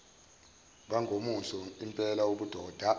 bangomuso lmpela ubudoda